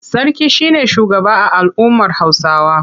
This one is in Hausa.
Sarki shi ne shugaba a al'ummar Hausawa.